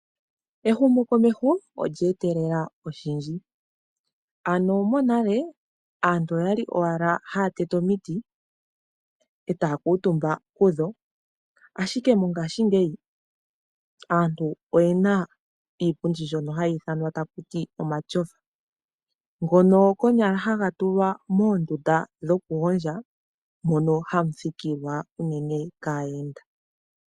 Ehumo komeho olye etelela oshindji , ano monale aantu oyali owala haya tete omiiti e taya kuutumba kudho ashike mongaashingeyi aantu oyena iipundi mbyoka hayi ithanwa takuti omatyofa, ngoka konyalala haga tulwa moondunda dhokugondja moka hamu thikilwa unene kaayenda.